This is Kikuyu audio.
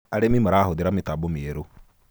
arĩmi marahuthira mitambo mieru